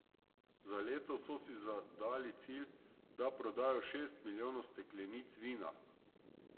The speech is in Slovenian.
Za letos so si zadali cilj, da prodajo šest milijonov steklenic vina.